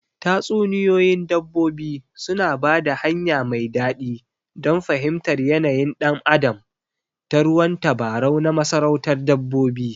Tatsuniyoyin dabbobi suna ba da hanya mai daɗi don fahimtar yanayin ɗan adam ta ruwan tabarau na masarautar dabbobi.